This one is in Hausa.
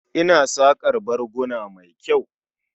Ina saƙar barguna mai kyau.